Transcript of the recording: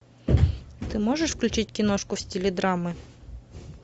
ты можешь включить киношку в стиле драмы